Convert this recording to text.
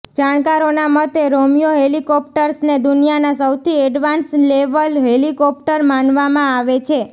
જાણકારોના મતે રોમિયો હેલિકોપ્ટર્સને દુનિયાના સૌથી એડવાંસ નેવલ હેલિકોપ્ટર માનવામાં આવે છે